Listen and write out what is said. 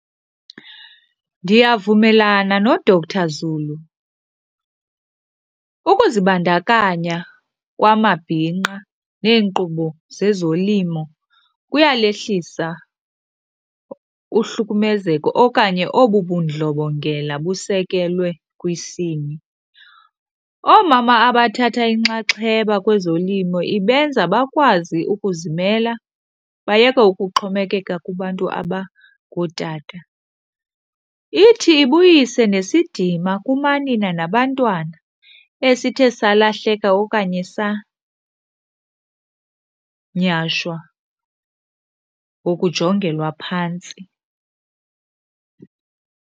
Ndiyavumelana noDr Zulu, ukuzibandakanya kwamabhinqa neenkqubo zezolimo kuyalehlisa uhlukumezeko okanye obu bundlobongela busekelwe kwisini. Oomama abathatha inxaxheba kwezolimo ibenza bakwazi ukuzimela, bayeke ukuxhomekeka kubantu abangootata. Ithi ibuyise nesidima kumanina nabantwana esithe salahleka okanye sanyhashwa ngokujongelwa phantsi.